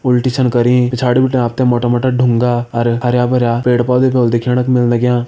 उल्टी छन करीं पिछाड़ी बिटिन आप तें मोटा मोटा ढुंगा अर हरयां भरयां पेड़ पौधा भी होला दिखेण क मिल लग्यां।